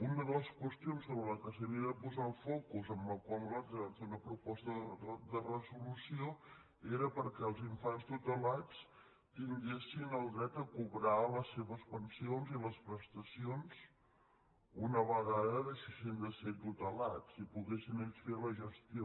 una de les qüestions sobre la qual s’havia de posar el focus i a la qual nosaltres vam fer una proposta de resolució era perquè els infants tutelats tinguessin el dret a cobrar les seves pensions i les prestacions una vegada deixessin de ser tutelats i que poguessin ells fer la gestió